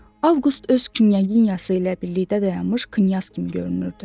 Avqust öz knyaginyası ilə birlikdə dayanmış knyaz kimi görünürdü.